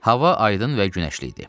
Hava aydın və günəşli idi.